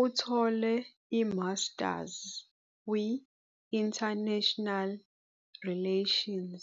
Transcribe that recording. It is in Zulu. Uthole iMasters kwi-International Relations